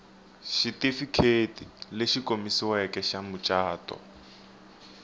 xitifiketi lexi komisiweke xa mucato